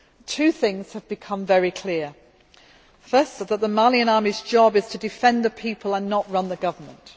Two things have become very clear firstly, that the Malian army's job is to defend the people and not to run the government